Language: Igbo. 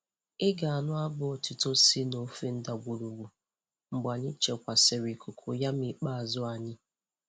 Ị ga-anụ abụ otuto si n'ofe ndagwurugwu mgbe anyị chekwasịrị cocoyam ikpeazụ anyị.